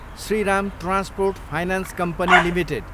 Shriram transport finance company Ltd